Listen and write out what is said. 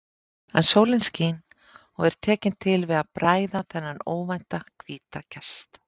En sólin skín og er tekin til við að bræða þennan óvænta hvíta gest.